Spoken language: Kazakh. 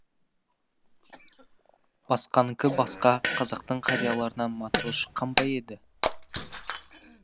басқаныкі басқа қазақтың қарияларынан матрос шыққан ба еді